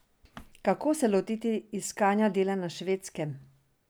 Kako se lotiti iskanja dela na Švedskem?